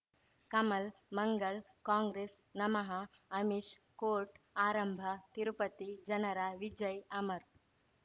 Kamal Mangal Congress ನಮಃ Amish court ಆರಂಭ ತಿರುಪತಿ ಜನರ ವಿಜಯ್ ಅಮರ್